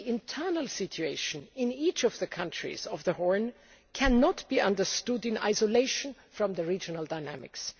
The internal situation in each of the countries of the Horn cannot be understood in isolation from the regional dynamics.